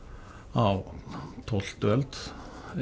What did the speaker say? á tólftu öld